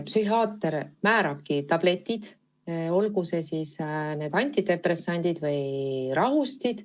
Psühhiaater määrab tabletid, olgu need siis antidepressandid või rahustid.